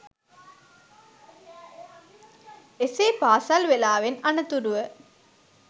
එසේ පාසල් වේලාවෙන් අනතුරුව